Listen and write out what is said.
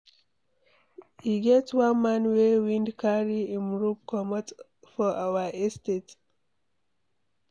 E get one man wey wind carry im roof comot for our estate.